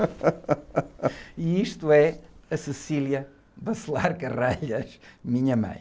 E isto é a, minha mãe.